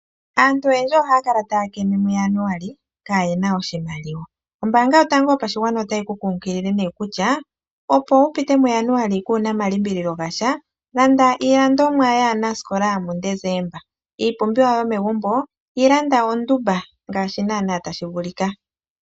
Aantu oyendji ohaya kala taya keme muJaanuali kaa yena oshimaliwa, ombaanga yotango yopashigwaana otayi ku kunkilile kutya opo wupite muJaanuali kuna omalimbililo gasha landa iilandomwa yaanasikola muDesemba, iipumbiwa yomegumbo yilanda oondumba ngaashi nana tashi vulika.